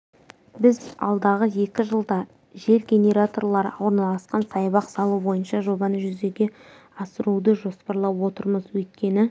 біз алдағы екі жылда жел генераторлары орналасқан саябақ салу бойынша жобаны жүзеге асыруды жоспарлап отырмыз өйткені